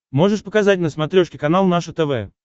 можешь показать на смотрешке канал наше тв